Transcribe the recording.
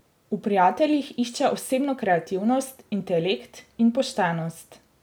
V prijateljih išče osebno kreativnost, intelekt in poštenost.